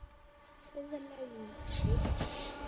Siðleg lygi.